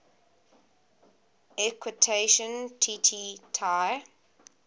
equation tt tai